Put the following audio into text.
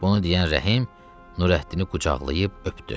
Bunu deyən Rəhim Nurəddini qucaqlayıb öpdü.